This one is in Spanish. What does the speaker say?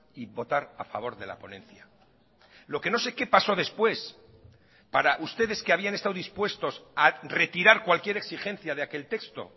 y votar a favor de la ponencia lo que no sé qué paso después para ustedes que habían estado dispuestos a retirar cualquier exigencia de aquel texto